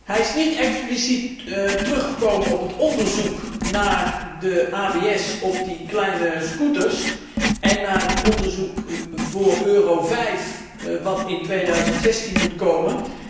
Hij is niet expliciet teruggekomen op het onderzoek naar de abs op kleine scooters en naar het onderzoek voor Euro 5, dat in 2016 moet komen.